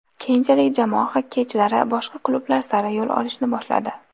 Keyinchalik jamoa xokkeychilari boshqa klublar sari yo‘l olishni boshladi.